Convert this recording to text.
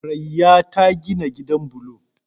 Raya ta gina gidan bulo